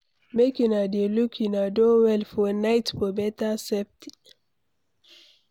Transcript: Make una dey lock una door well for night for better safety.